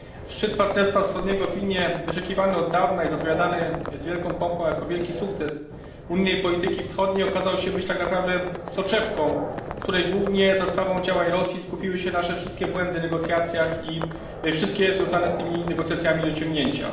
Szczyt Partnerstwa Wschodniego w Wilnie, wyczekiwany od dawna i zapowiadany z wielką pompą jako wielki sukces unijnej polityki wschodniej, okazał się być tak naprawdę soczewką, w której głównie za sprawą działań Rosji skupiły się nasze wszystkie błędy w negocjacjach i wszystkie związane z tymi negocjacjami niedociągnięcia.